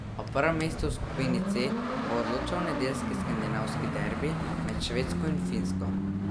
O prvem mestu v skupini C bo odločal nedeljski skandinavski derbi med Švedsko in Finsko.